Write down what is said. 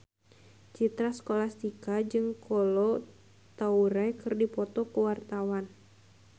Citra Scholastika jeung Kolo Taure keur dipoto ku wartawan